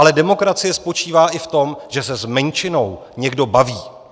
Ale demokracie spočívá i v tom, že se s menšinou někdo baví.